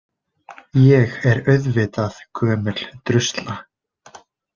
Ég er auðvitað gömul drusla.